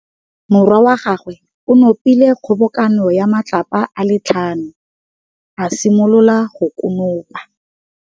Morwa wa gagwe o nopile kgobokanô ya matlapa a le tlhano, a simolola go konopa.